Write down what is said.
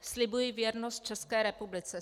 Slibuji věrnost České republice.